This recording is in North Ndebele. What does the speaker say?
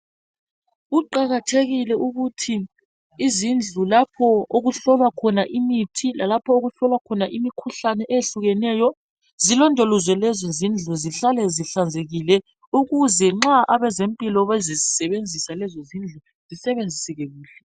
Kuqakathekile ukuthi izindlu lapho okuhlola khona imithi lalapho okuhlolwa khona imikhuhlane eyehlukeneyo zilondolozwe lezo zindlu zihlale ezihlanzekileyo ukuze nxa abezempilo bezazisebenzisa lezo zindlu bezisebenzise kuhle.